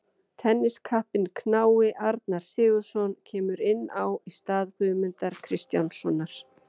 Tenniskappinn knái Arnar Sigurðsson kemur inn á í stað Guðmundar Kristjánssonar.